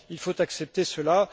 Il faut accepter cela.